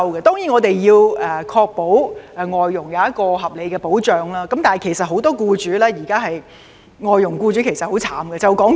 我們固然要確保對外傭提供合理的保障，但現時很多外傭僱主都十分可憐。